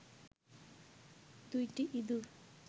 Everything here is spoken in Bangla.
দুইটি ইঁদুর